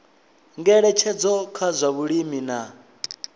ngeletshedzo kha zwa vhulimi na